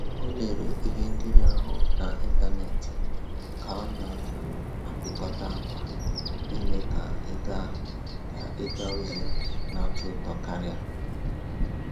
O lere ihe nkiri ahụ na ịntanetị ka ọ na um apịkọta akwa ime ka ịga ka ịga ozi na atọ ụtọ karịa